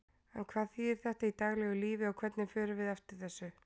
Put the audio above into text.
En hvað þýðir þetta í daglegu lífi og hvernig förum við eftir þessu?